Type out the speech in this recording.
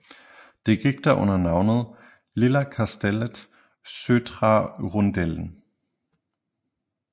Det gik da under navnet Lilla kastellet södra rundeln